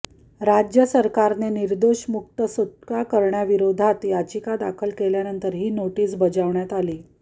राज्य सरकारने निर्दोष मुक्त सुटका कऱण्याविरोधात याचिका दाखल केल्यानंतर ही नोटीस बजावण्यात आली